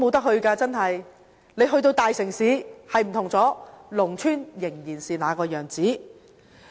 雖然大城市的情況已經不同，但農村仍然是那個樣子。